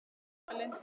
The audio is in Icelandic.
Þín Eva Lind.